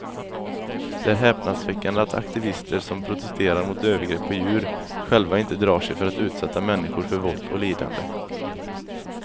Det är häpnadsväckande att aktivister som protesterar mot övergrepp på djur själva inte drar sig för att utsätta människor för våld och lidande.